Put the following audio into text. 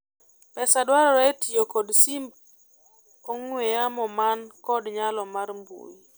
pesa dware e tiyo kod simb ong'we yamo man kod nyalo mar mbui